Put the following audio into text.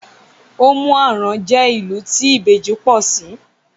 Òmù-àrán jẹ́ ilu tí ìbejì pọọsí